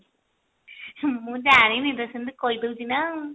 ମୁଁ ଜାଣିନି ଲୋ ସେମତି କହି ଦେଉଛି ନା ଆଉ